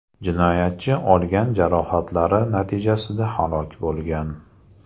Jinoyatchi olgan jarohatlari natijasida halok bo‘lgan.